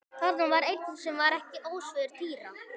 Þarna var einn sem var ekki ósvipaður Týra.